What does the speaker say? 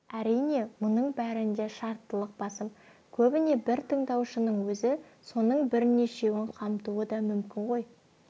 әрине мұның бәрінде шарттылық басым көбіне бір тыңдаушының өзі соның бірнешеуін қамтуы да мүмкін ғой